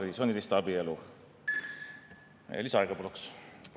Me ei näe sellist võitlust, kui on vaja Eesti rahva ja inimese eest, tema elujärje eest hoolt kanda.